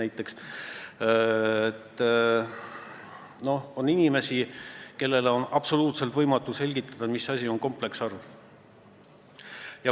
Minu kogemus ütleb, et on inimesi, kellele on absoluutselt võimatu selgitada, mis asi on kompleksarv.